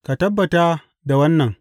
Ka tabbata da wannan.